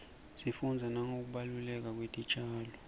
sifunbza nangekubaluleka kwetitjalo